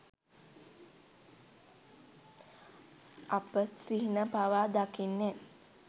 අප සිහින පවා දකින්නේ